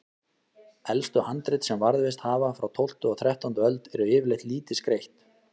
Elstu handrit sem varðveist hafa, frá tólftu og þrettándu öld, eru yfirleitt lítið skreytt.